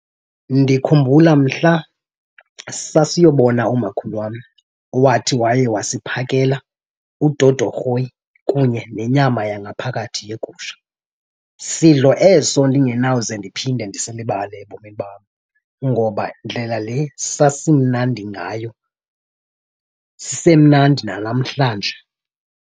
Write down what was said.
Ndikhumbula mhla sasiyobona umakhulu wam owathi waye wasiphakela udodorhoyi kunye nenyama yangaphakathi yegusha. Sidlo eso ndingenawuze ndiphinde ndisilibale ebomini bam ngoba ndlela le sasimnandi ngayo sisemnadi nanamhlanje.